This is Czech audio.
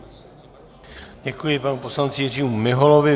Děkuji panu poslanci Jiřímu Miholovi.